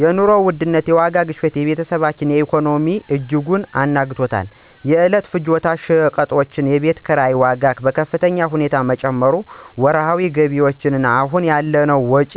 የኑሮ ውድነት (የዋጋ ግሽበት) የቤተሰባችንን ኢኮኖሚ በእጅጉ አናግቷል። የዕለት ፍጆታ ሸቀጦችና የቤት ኪራይ ዋጋ በከፍተኛ ሁኔታ በመጨመሩ ወርሃዊ ገቢያችን አሁን ያለውን ወጪ